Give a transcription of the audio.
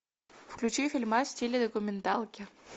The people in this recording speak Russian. включи фильмас в стиле документалки